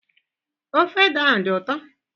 Ofe ede ahụ adị ụtọ?